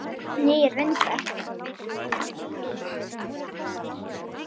Nýir vindar?